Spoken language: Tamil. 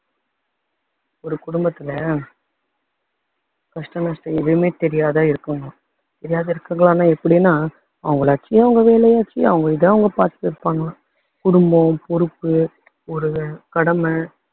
ஒரு குடும்பத்துல கஷ்ட நஷ்ட எதுவுமே தெரியாத இருக்காங்களாம் தெரியாத இருக்காங்களான்னா எப்படின்னா அவங்களாச்சு அவங்க வேலையாச்சு அவங்க இத அவங்க பாத்துட்டு இருப்பாங்களாம் குடும்பம் பொறுப்பு ஒரு கடமை